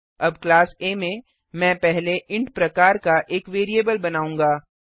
अब क्लास आ में मैं पहले इंट प्रकार का एक वेरिएबल बनाऊँगा